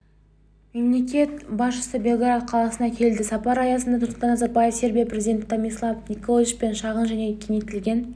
мемлекет басшысы белград қаласына келді сапар аясында нұрсұлтан назарбаев сербия президенті томислав николичпен шағын және кеңейтілген